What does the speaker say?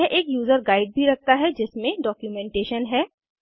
यह एक user guide भी रखता है जिसमे डॉक्यूमेंटेशन है